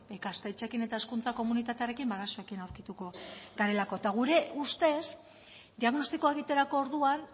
ikastetxeekin eta hezkuntza komunitatearekin ba arazoekin aurkituko garelako eta gure ustez diagnostikoa egiterako orduan